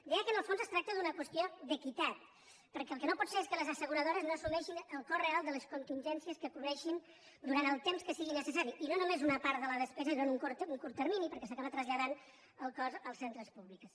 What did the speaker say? deia que en el fons es tracta d’una qüestió d’equitat perquè el que no pot ser és que les asseguradores no assumeixin el cost real de les contingències que cobreixin durant el temps que sigui necessari i no només una part de la despesa és en un curt termini perquè s’acaba traslladant el cost als centres públics